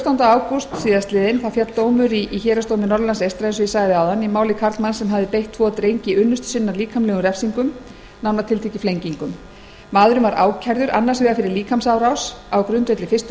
um í ágústmánuði síðastliðnum féll dómur í héraðsdómi norðurlands eystra í máli karlmanns sem hafði beitt tvo drengi unnustu sinnar líkamlegum refsingum nánar tiltekið flengingum maðurinn var ákærður annars vegar fyrir líkamsárás á grundvelli fyrstu